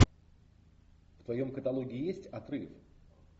в твоем каталоге есть отрыв